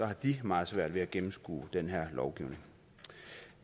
har de meget svært ved at gennemskue den her lovgivning